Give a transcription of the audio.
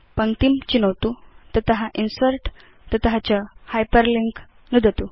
पङ्क्तिं चिनोतुतत इन्सर्ट् तत च हाइपरलिंक नुदतु